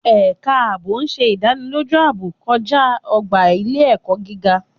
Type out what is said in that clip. Ẹ̀ka ààbò ṣe ìdánilójú ààbò kọjá ọgbà ile-ẹkọ gíga